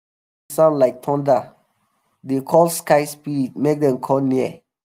sound like thunder dey um call sky spirit make dem come um near.